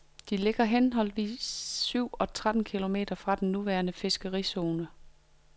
De ligger henholdsvis syv og tretten kilometer fra den nuværende fiskerizone.